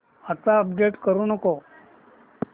आता अपडेट करू नको